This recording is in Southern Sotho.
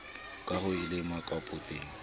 ka ha o le mokapotene